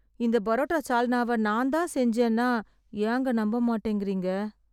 இந்த புரோட்டா சால்னாவ நான்தான் செஞ்சேன்னா ஏங்க நம்பமாட்டேங்கறீங்க...